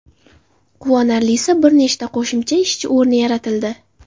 Quvonarlisi bir nechta qo‘shimcha ishchi o‘rni yaratildi.